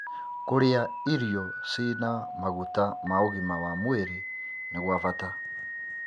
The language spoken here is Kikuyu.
Kũrĩa irio cina maguta ma ũgima wa mwĩrĩ nĩ gwa bata.#